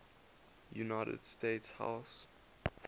united states house